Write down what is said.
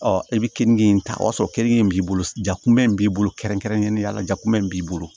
i bɛ kenige in ta o y'a sɔrɔ kenige in b'i bolo jakunmɛ in b'i bolo kɛrɛnkɛrɛnnenya la jakunmɛ in b'i bolo